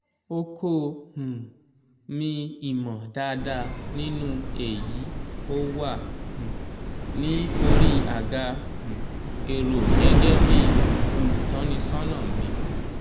oko um mi ìmọ̀ dáadáa nínú èyí ó wà um ní orí àga um èrò gẹ́gẹ́ bí olùtọ́nisọ́nà mi.